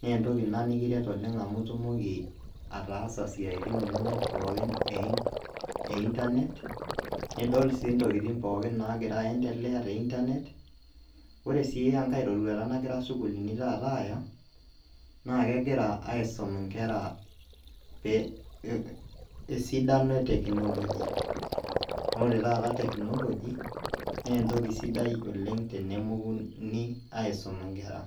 neentoki ina nikiret oleng' amu itumoki ataasa siaitin inonok pooki eintanet nidol aii intokitin pookin naagira aendelea teintanet. Ore sii engai roruata nagira sukulini taata aaya naakegira aisom inkera [pee] esidano eteknoloji. Noore taata taata teknoloji neentoki sidai oleng' tenemokuni aisoma nkera.